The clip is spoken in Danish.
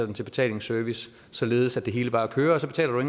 i betalingsservice således at det hele bare kører så betaler du